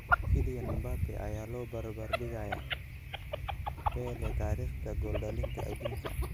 Kylian Mbappe ayaa la barbar dhigaya Pele taariikhda gool dhalinta aduunka